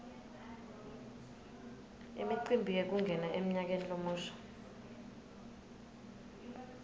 imicimbi yekungena emnyakeni lomusha